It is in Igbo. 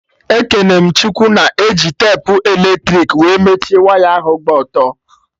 Ekene m Chukwu na-eji tepu eletrik wee mechie waya ahụ gba ọtọ